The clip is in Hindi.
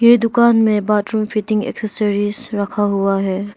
ये दुकान में बाथरूम फिटिंग एसेसरीज रखा हुआ है।